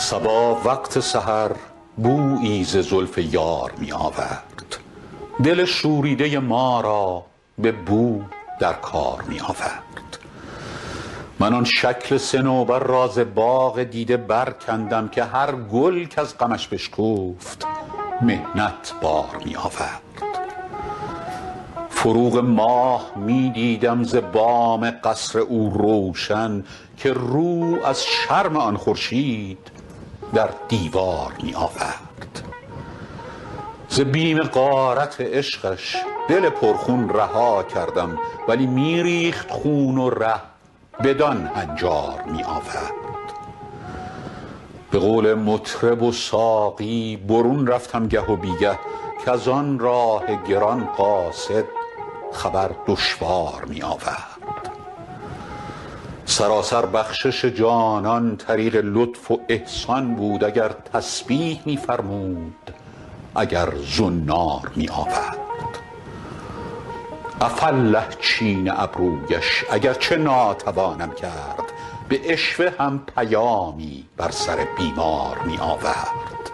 صبا وقت سحر بویی ز زلف یار می آورد دل شوریده ما را به نو در کار می آورد من آن شکل صنوبر را ز باغ دیده برکندم که هر گل کز غمش بشکفت محنت بار می آورد فروغ ماه می دیدم ز بام قصر او روشن که رو از شرم آن خورشید در دیوار می آورد ز بیم غارت عشقش دل پرخون رها کردم ولی می ریخت خون و ره بدان هنجار می آورد به قول مطرب و ساقی برون رفتم گه و بی گه کز آن راه گران قاصد خبر دشوار می آورد سراسر بخشش جانان طریق لطف و احسان بود اگر تسبیح می فرمود اگر زنار می آورد عفاالله چین ابرویش اگر چه ناتوانم کرد به عشوه هم پیامی بر سر بیمار می آورد